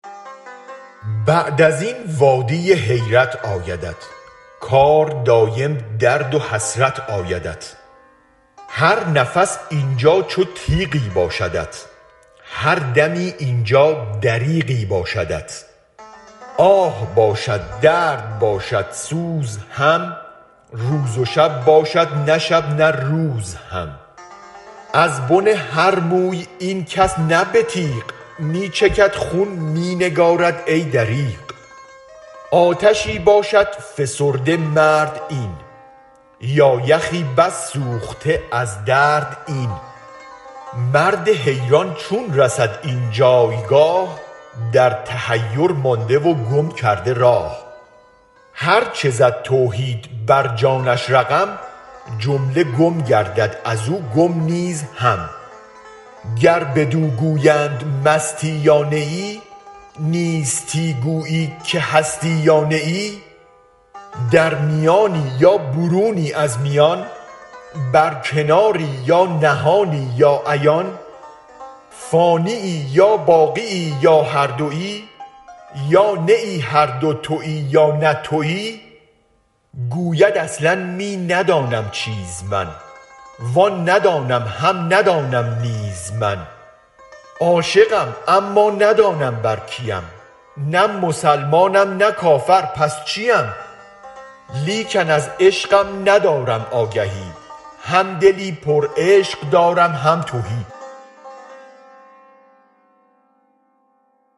بعد ازین وادی حیرت آیدت کار دایم درد و حسرت آیدت هر نفس اینجا چو تیغی باشدت هر دمی اینجا دریغی باشدت آه باشد درد باشد سوز هم روز و شب باشد نه شب نه روز هم ازبن هر موی این کس نه به تیغ می چکد خون می نگارد ای دریغ آتشی باشد فسرده مرد این یا یخی بس سوخته از درد این مرد حیران چون رسد این جایگاه در تحیر مانده و گم کرده راه هرچ زد توحید بر جانش رقم جمله گم گردد از و گم نیز هم گر بدو گویند مستی یا نه ای نیستی گویی که هستی یا نه ای در میانی یا برونی از میان بر کناری یا نهانی یا عیان فانیی یا باقیی یا هر دوی یا نه هر دو توی یا نه توی گوید اصلا می ندانم چیز من وان ندانم هم ندانم نیز من عاشقم اما ندانم بر کیم نه مسلمانم نه کافر پس چیم لیکن از عشقم ندارم آگهی هم دلی پرعشق دارم هم تهی